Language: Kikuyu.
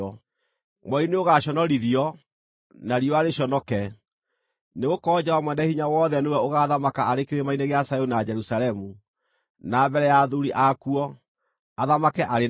Mweri nĩũgaconorithio, na riũa rĩconoke; nĩgũkorwo Jehova Mwene-Hinya-Wothe nĩwe ũgaathamaka arĩ Kĩrĩma-inĩ gĩa Zayuni na Jerusalemu, na mbere ya athuuri akuo, athamake arĩ na riiri.